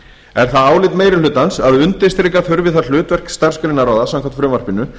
er það álit meiri hlutans að undirstrika þurfi það hlutverk starfsgreinaráða samkvæmt frumvarpinu